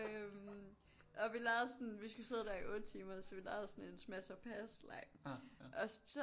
Øh og vi legede sådan vi skulle sidde der i 8 timer så vi legede sådan en smash or pass leg og så